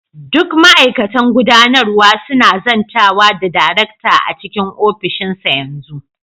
Duk ma'aikatan gudanarwa suna zantawa da darekta a cikin ofishinsa yanzu.